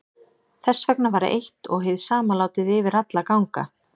Þess vegna var eitt og hið sama látið yfir alla ganga.